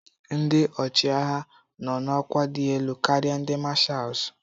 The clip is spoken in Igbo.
Ndị ọchịagha nọ n'ọkwa dị elu karịa ndị mashals.